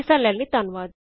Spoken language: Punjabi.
ਹਿੱਸਾ ਲੈਣ ਲਈ ਧੰਨਵਾਦ